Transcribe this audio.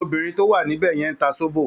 Obìnrin tó wà níbẹ̀ yẹn ń ta sóbò